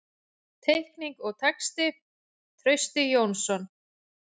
Teikning og texti: Trausti Jónsson.